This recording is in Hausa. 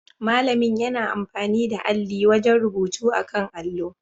Malami yana amfani da alli wajen rubutu akan allo